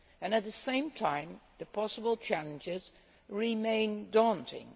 At the same time the possible challenges remain daunting.